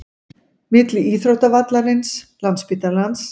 Milli íþróttavallarins, landsspítalans